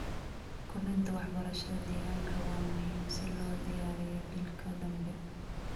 Kordhinta waxbarashada deegaanka waa muhiim si loo diyaariyo jiilka dambe.